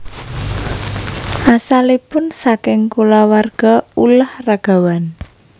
Asalipun saking kulawarga ulah ragawan